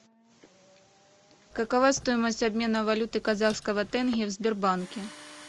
какова стоимость обмена валюты казахского тенге в сбербанке